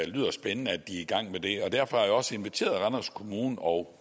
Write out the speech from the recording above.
lyder spændende at de er i gang med det og derfor har jeg også inviteret randers kommune og